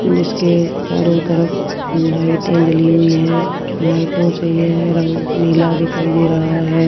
जिसके चारों तरफ लाइटें जली हुईं हैं लाइटों से येह रंग नीला दिखाई दे रहा हैं।